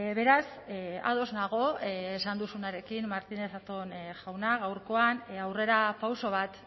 beraz ados nago esan duzunarekin martínez zatón jauna gaurkoan aurrerapauso bat